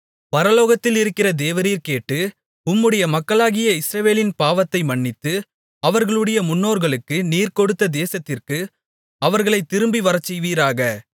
பரலோகத்தில் இருக்கிற தேவரீர் கேட்டு உம்முடைய மக்களாகிய இஸ்ரவேலின் பாவத்தை மன்னித்து அவர்களுடைய முன்னோர்களுக்கு நீர் கொடுத்த தேசத்திற்கு அவர்களைத் திரும்பி வரச்செய்வீராக